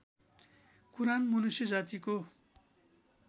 कुरान मनुष्य जातिको